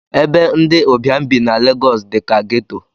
Ebe ndi ụbịam bi na legosi dika geto